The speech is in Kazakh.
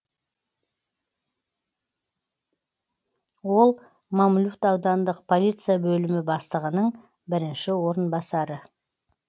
ол мамлют аудандық полиция бөлімі бастығының бірінші орынбасары